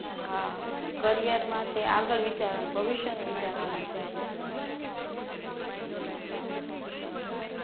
હા કરિયર માટે આગળ વિચારવાનું, ભવિષ્યનું વિચારવાનું છે ને આપણે